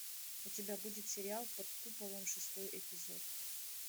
у тебя будет сериал под куполом шестой эпизод